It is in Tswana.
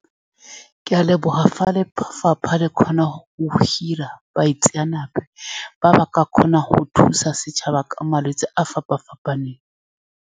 Ke a leboga, fa lefapha le kgona go hira baitseanape ba ba ka kgonang go thusa setšhaba ka malwetse a a fapa-fapaneng.